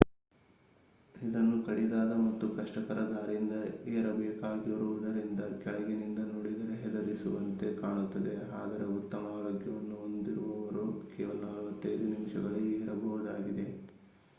ಇದನ್ನು ಕಡಿದಾದ ಮತ್ತು ಕಷ್ಟಕರ ದಾರಿಯಿಂದ ಏರಬೇಕಾಗಿರುವುದರಿಂದ ಕೆಳಗಿನಿಂದ ನೋಡಿದರೆ ಹೆದರಿಸುವಂತೆ ಕಾಣುತ್ತದೆ ಆದರೆ ಉತ್ತಮ ಆರೋಗ್ಯವನ್ನು ಹೊಂದಿರುವವರು ಕೇವಲ 45 ನಿಮಿಷಗಳಲ್ಲಿ ಏರಬಹುದಾಗಿದೆ